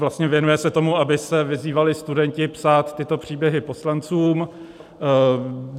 Vlastně věnuje se tomu, aby se vyzývali studenti psát tyto příběhy poslancům.